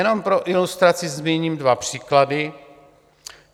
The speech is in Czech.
Jenom pro ilustraci zmíním dva příklady.